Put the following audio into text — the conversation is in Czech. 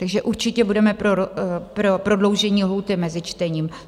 Takže určitě budeme pro prodloužení lhůty mezi čtením.